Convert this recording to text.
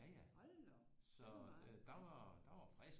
Ja ja så der var der var